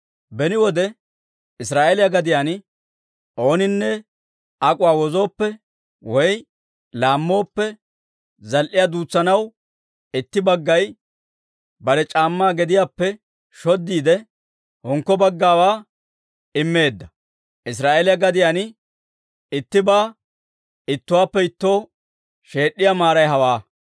Beni wode Israa'eeliyaa gadiyaan ooninne ak'uwaa wozooppe woy laammooppe, zal"iyaa duutsanaw itti baggay bare c'aammaa gediyaappe shoddiide, hinkko baggawaa immeedda. Israa'eeliyaa gadiyaan ittibaa ittuwaappe ittoo sheed'd'iyaa maaray hewaa.